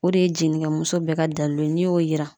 O de ye jenigamuso bɛɛ ka dalilu ye n'i y'o yira